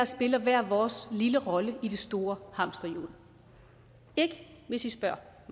spiller hver vores lille rolle i det store hamsterhjul ikke hvis i spørger